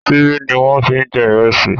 Ṣíbí ni wọ́n ń fi jẹ ìrẹsì.